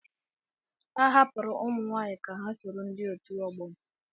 A hapụrụ ụmụ nwaanyị ka ha soro ndị otu ọgbọ m.